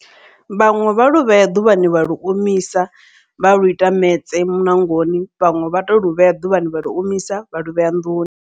Vhaṅwe vha lu vhea ḓuvhani vha lu omisa vha lu ita metse muṋangoni vhaṅwe vha to lu vhea ḓuvhani vha lu omisa vha luvhea nḓuni.